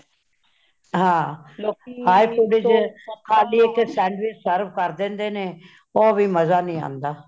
ਹਾਂ hey pudding ਵਿੱਚ ਖ਼ਾਲੀ ਇਕ sandwich serve ਕਰ ਦੇਂਦੇ ਨੇ ,ਉਹ ਵੀ ਮੰਜਾ ਨਹੀਂ ਆਉਂਦਾ